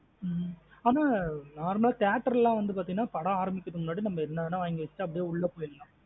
ஹம் அனா normal theatre லாம் வந்து பாத்தி நா படம் ஆரம்பிக்கிது முண்ணாடி நம்ம என்ன வேணும் நா வாங்கி வச்சுட்டு அப்டியே உள்ள போயிரலாம்.